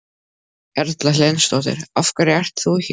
Erla Hlynsdóttir: Af hverju ert þú hér?